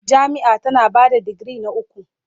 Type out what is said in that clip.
Jami'a tana ba da digiri na uku.